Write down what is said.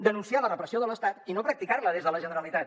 denunciar la repressió de l’estat i no practicar la des de la generalitat